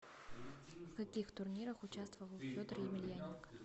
в каких турнирах участвовал федор емельяненко